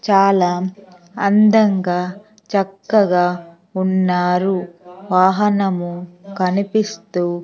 చాలా అందంగా చక్కగా ఉన్నారువాహనము కనిపిస్తూ--